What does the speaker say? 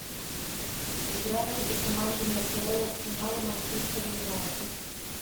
игра между командами апл арсенал и манчестер юнайтед